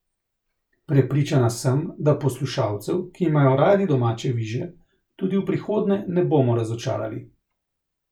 Prepričana sem, da poslušalcev, ki imajo radi domače viže, tudi v prihodnje ne bomo razočarali.